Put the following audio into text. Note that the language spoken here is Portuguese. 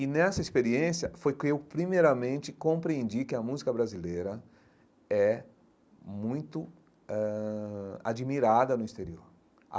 E nessa experiência foi que eu, primeiramente, compreendi que a música brasileira é muito ãh admirada no exterior.